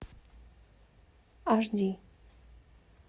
аш ди